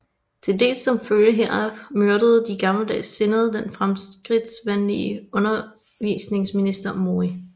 Til dels som følge heraf myrdede de gammeldags sindede den fremskridtsvenlige undervisningsminister Mori